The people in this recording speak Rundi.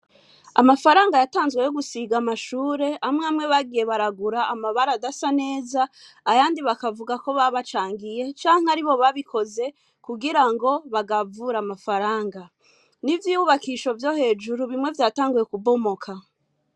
Amafaranga yatanzwe yo gusiga amashure, amwe amwe bagiye baragura amabara adasa neza, ayandi bakavugako babacangiye canke aribo babikoze kugira ngo bagavure amafaranga. N'ivyubakisho vyo hejuru bimwe vyatanguye kubomoka.